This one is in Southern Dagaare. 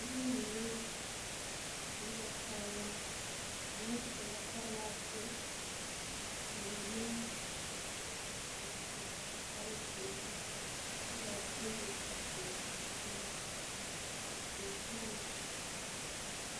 Noba mine su la kaayaa. Mine su la kaayaa follɔ, ka ba mine a su kparre zeere. Kyɛ kaa bayi dɔɔ teŋɛ, a bin hamma.